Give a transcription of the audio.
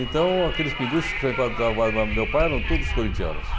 Então, aqueles pinguços que frequentavam o bar do meu pai eram todos corintianos.